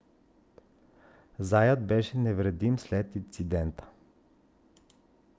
заят беше невредим след инцидента